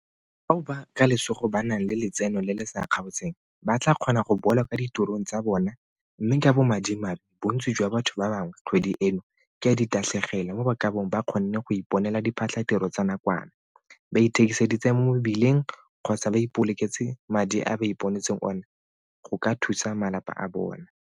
Bao ka lesego ba nang le letseno le le sa kgaotseng ba tla kgona go boela kwa ditirong tsa bona mme ka bomadimabe bontsi jwa batho ba bangwe kgwedi eno ke ya ditatlhegelo mo ba ka bong ba kgonne go iponela diphatlhatiro tsa nakwana, ba ithekiseditse mo mebileng kgotsa ba ipoloketse madi a ba iponetseng one go ka thusa malapa a bona.